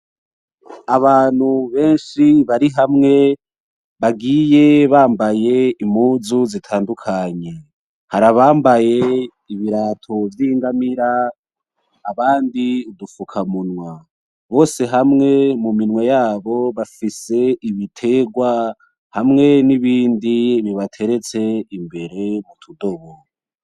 Abantu benshi bari hamwe bagiye bambaye impuzu zitandukanye, hari abambaye ibirato vy'ingamira abandi udufuka munwa bose mu minwe yabo bafise ibitegwa hamwe n'ibindi bibateretse imbere m'utudobo